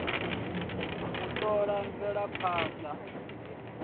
u t ola mvelaphand a